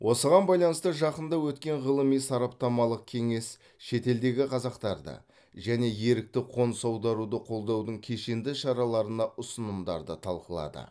осыған байланысты жақында өткен ғылыми сараптамалық кеңес шетелдегі қазақтарды және ерікті қоныс аударуды қолдаудың кешенді шараларына ұсынымдарды талқылады